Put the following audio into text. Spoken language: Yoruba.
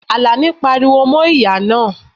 Alani pariwo mo ìyá naa